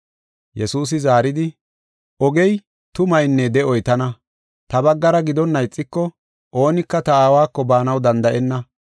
Yesuusi zaaridi, “Ogey, tumaynne de7oy tana. Ta baggara gidonna ixiko oonika ta Aawako baanaw danda7enna.